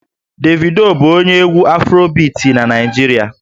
Davido bụ onye egwú Afrobiti na Naịjirịa